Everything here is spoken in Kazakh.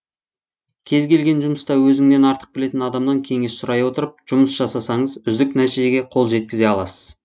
кез келген жұмыста өзіңнен артық білетін адамнан кеңес сұрай отырып жұмыс жасасаңыз үздік нәтижеге қол жеткізе аласыз